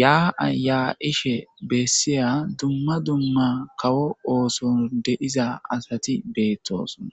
ya'a yaa'ishe besiya duma duma kawo ooson de'iza asati beetosona.